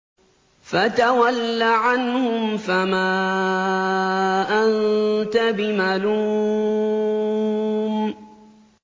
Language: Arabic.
فَتَوَلَّ عَنْهُمْ فَمَا أَنتَ بِمَلُومٍ